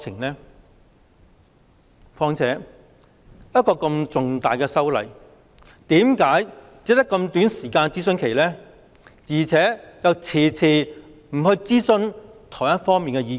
再者，一項如此重大的修例建議，為何諮詢期只有這麼短，而且遲遲未有諮詢台灣方面的意見？